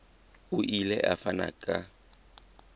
o ile a fana ka